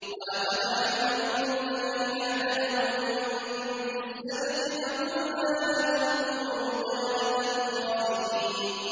وَلَقَدْ عَلِمْتُمُ الَّذِينَ اعْتَدَوْا مِنكُمْ فِي السَّبْتِ فَقُلْنَا لَهُمْ كُونُوا قِرَدَةً خَاسِئِينَ